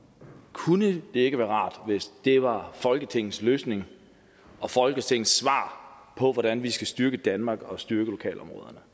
kunne det ikke være rart hvis det var folketingets løsning og folketingets svar på hvordan vi skal styrke danmark og styrke lokalområderne